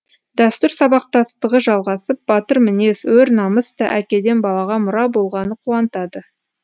дәстүр сабақтастығы жалғасып батыр мінез өр намыс та әкеден балаға мұра болғаны қуантады